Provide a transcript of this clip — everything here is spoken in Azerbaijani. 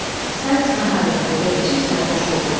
Sayks narahat etdi və içib sərxoş oldu.